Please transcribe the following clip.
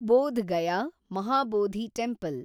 Bodh Gaya, Mahabodhi temple